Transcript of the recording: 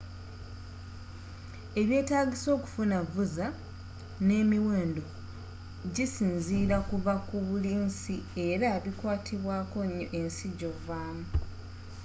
ebyetaagisa okufuna visa nemiwendo gisinzira kuva ku buli nsi era bikwatibwakonyo ensi gyovamu